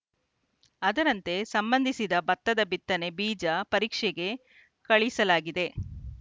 ಅದರಂತೆ ಸಂಬಂಧಿಸಿದ ಬತ್ತದ ಬಿತ್ತನೆ ಬೀಜ ಪರೀಕ್ಷೆಗೆ ಕಳಿಸಲಾಗಿದೆ